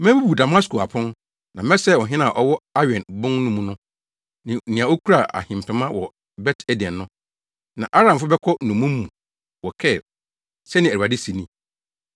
Mebubu Damasko apon, na mɛsɛe ɔhene a ɔwɔ Awen bon no mu no ne nea okura ahempema wɔ Bet Eden no. Na Aramfo bɛkɔ nnommum mu wɔ Kir,” sɛnea Awurade se ni.